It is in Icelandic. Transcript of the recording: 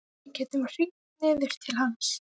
Við gætum hringt niður til hans.